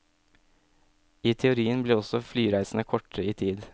I teorien blir også flyreisene kortere i tid.